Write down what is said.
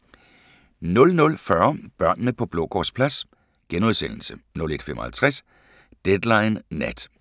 00:40: Børnene på Blågårdsplads * 01:55: Deadline Nat